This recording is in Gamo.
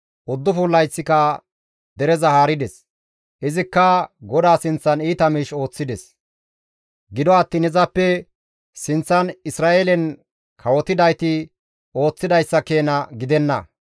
Izikka GODAA sinththan iita miish ooththides; gido attiin izappe sinththan Isra7eelen kawotidayti ooththidayssa keena gidenna.